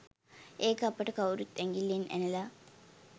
ඒක අපට කවුරුත් ඇගිල්ලෙන් ඇනලා